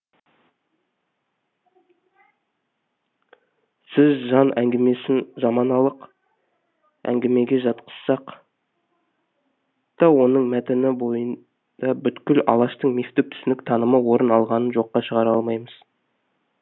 біз жан әңгімесін заманалық әңгімеге жатқызсақ та оның мәтіні бойында бүткіл алаштың мифтік түсінік танымы орын алғанын жоққа шығара алмаймыз